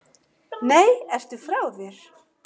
Nei, ertu frá þér?